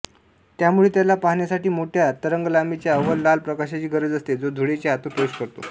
त्यामुळे त्याला पाहण्यासाठी मोठ्या तरंगलांबीच्या अवर लाल प्रकाशाची गरज असते जो धुळेच्या आतून प्रवेश करतो